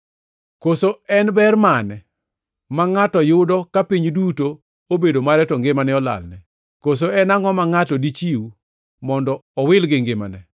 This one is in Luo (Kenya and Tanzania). Koso en ber mane ma ngʼato yudo ka piny duto obedo mare to ngimane to olalne? Koso en angʼo ma ngʼato dichiw mondo owil gi ngimane?